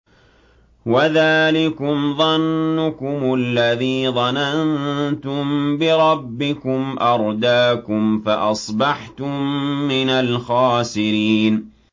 وَذَٰلِكُمْ ظَنُّكُمُ الَّذِي ظَنَنتُم بِرَبِّكُمْ أَرْدَاكُمْ فَأَصْبَحْتُم مِّنَ الْخَاسِرِينَ